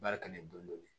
Baara kɛ ni dɔnni ye